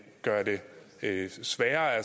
sværere at